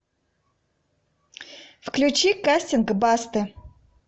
включи кастинг басты